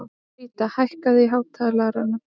Ríta, hækkaðu í hátalaranum.